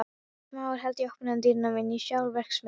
Smári hélt opnum dyrunum inn í sjálfa verksmiðjuna.